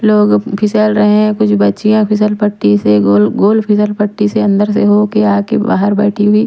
लोग फिसल रहे हैं कुछ बच्चियाँ फिसल पट्टी से गोल-गोल फिसल पट्टी से अंदर से हो के आके बाहर बैठी हुई--